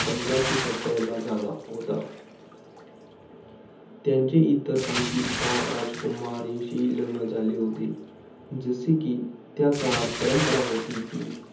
पंधराशे सत्तावन्नला झाला होता. त्यांचे इतर आणखी दहा राजकुमारीशी लग्न झाले होते. जसे कि, त्या काळात परंपरा होती कि,